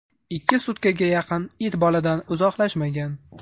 Ikki sutkaga yaqin it boladan uzoqlashmagan.